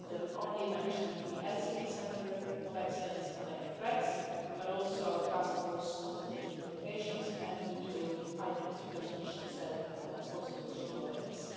I will mention not only the European Centre of Excellence for Countering Hybrid Threats, but also our Task Force on Strategic Communications and the EU Hybrid Fusion Cell for situational awareness.